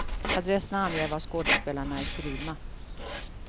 Adresserna anger var skådespelarna är skrivna.